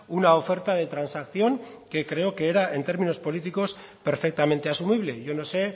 una oferta de transacción que creo que era en términos políticos perfectamente asumible yo no sé